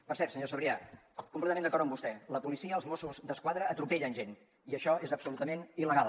per cert senyor sabrià completament d’acord amb vostè la policia els mossos d’esquadra atropellen gent i això és absolutament il·legal